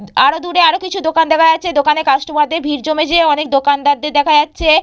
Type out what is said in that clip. হ আরো দূরে আরো কিছু দোকান দেখা যাচ্ছে। দোকানে কাস্টমার দের ভিড় জমেছে। অনেক দোকানদার দের দেখা যাচ্ছে।